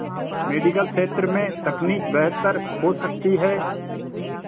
medical क्षेत्र में तकनीक बेहतर हो सकती है